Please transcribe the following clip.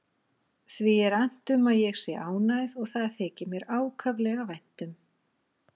Því er annt um að ég sé ánægð og það þykir mér ákaflega vænt um.